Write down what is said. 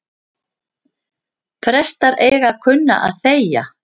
Prestar eiga að kunna að þegja